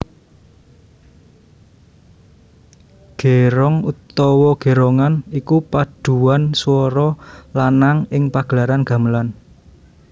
Gerong utawa gerongan iku padhuan swara lanang ing pagelaran gamelan